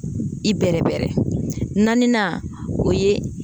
I bɛrɛbɛrɛ naaninan o ye